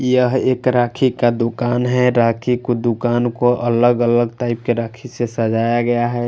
यह एक राखी का दुकान है राखी के दुकान को अलग अलग टाइप राखी से सझाया गया है।